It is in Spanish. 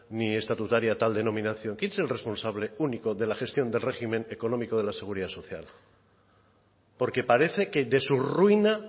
ni estatutaria tal denominación quién es el responsable único de la gestión del régimen económico de la seguridad social porque parece que de su ruina